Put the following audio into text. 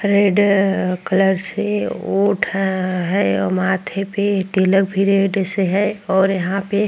red colour से ओट है और माथे पे तिलक भी रेड से है और यहाँ पे --